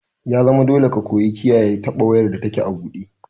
Ya zama dole ka koyi kiyaye taɓa wayar da take a buɗe!